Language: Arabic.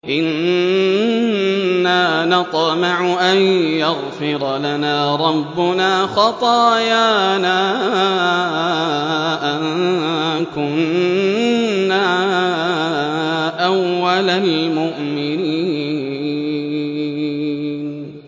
إِنَّا نَطْمَعُ أَن يَغْفِرَ لَنَا رَبُّنَا خَطَايَانَا أَن كُنَّا أَوَّلَ الْمُؤْمِنِينَ